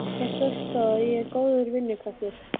Það sést þó að ég er góður vinnukraftur.